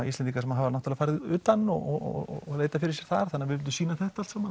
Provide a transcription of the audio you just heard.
Íslendingar sem hafa farið utan og leitað fyrir sér þar við vildum sýna þetta allt saman